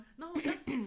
Nå ja